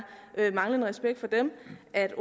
at